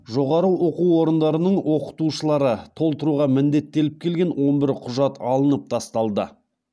жоғары оқу орындарының оқытушылары толтыруға міндеттеліп келген он бір құжат алынып тасталды